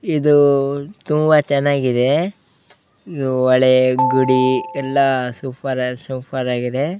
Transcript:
ಇದು ತುಂಬಾ ಚೆನ್ನಾಗಿದೆ ಇದು ಹೊಳೆ ಗಡಿ ಎಲ್ಲ ಸೂಪರ್ ಅಲ್ ಸೂಪರ್ ಆಗಿದೆ --